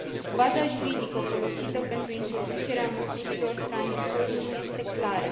Temeiul juridic folosit pentru introducerea măsurilor tranzitorii nu este clar.